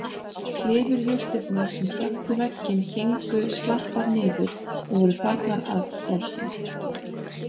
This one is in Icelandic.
Klifurjurtirnar sem þöktu vegginn héngu slappar niður og voru farnar að losna.